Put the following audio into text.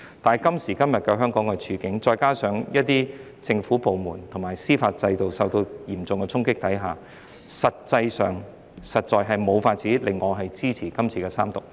但是，今時今日香港的處境，再加上一些政府部門及司法制度受到嚴重衝擊下，實在無法令我支持三讀《條例草案》。